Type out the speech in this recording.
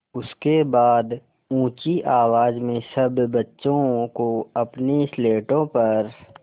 उसके बाद ऊँची आवाज़ में सब बच्चों को अपनी स्लेटों पर